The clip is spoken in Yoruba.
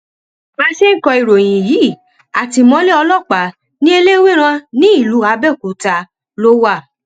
bá a ṣe ń kọ ìròyìn yìí àtìmọlé ọlọpàá ni eléwérán nílùú àbẹòkúta ló wà